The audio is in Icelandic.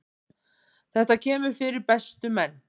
Þetta kemur fyrir bestu menn.